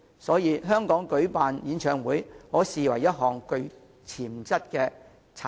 所以，舉辦演唱會其實是甚具潛質的產業。